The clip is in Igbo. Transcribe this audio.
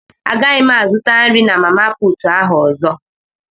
Agaghị m azụta nri na mama puutụ ahụ ọzọ.